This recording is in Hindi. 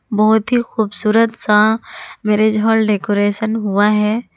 बहुत ही खूबसूरत सा मैरिज हॉल डेकोरेशन हुआ है।